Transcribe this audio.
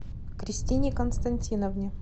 кристине константиновне